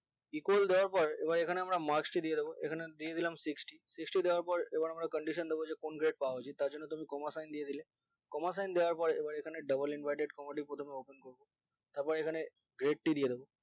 equal দেওয়ার পর এবার এখানে আমরা marks দিয়েদেবো এখানে দিয়ে দিলাম sixty sixty দেওয়ার পর এবার আমরা condition দিবো যে কোন grade তার জন্য তুমি comma sign দিয়েদিলে comma sign দেওয়ার পর এবার এখানে double inverted comma দিয়ে প্রথমে open করবো তারপর এখানে grade দিয়েদিবো